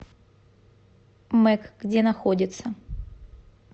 мэк где находится